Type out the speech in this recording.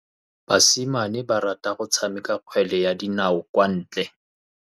Basimane ba rata go tshameka kgwele ya dinaô kwa ntle.